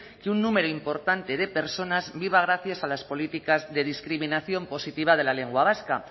que un número importante de personas viva gracias a las políticas de discriminación positiva de la lengua vasca